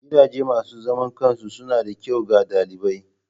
Gidajen masu zaman kansu suna da kyau ga ɗalibai.